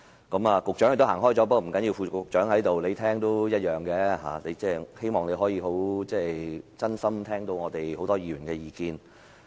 局長也離席了，不要緊，副局長在此，他在聽也是一樣，希望他能夠真心聽到我們很多議員的意見。